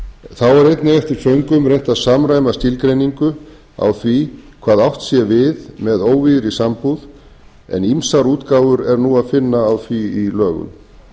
þá er einnig eftir föngum reynt að samræma skilgreiningu á því hvað átt sé við með óvígðri sambúð en ýmsar útgáfur er nú að finna á því í lögum